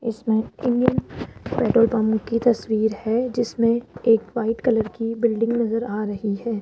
इसमें Indian petrol pump की तस्वीर है जिसमें एक व्हाइट कलर की बिल्डिंग नजर आ रही है।